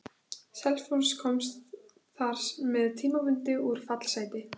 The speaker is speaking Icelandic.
Selfoss komst þar með tímabundið úr fallsæti.